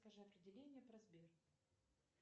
скажи определение про сбер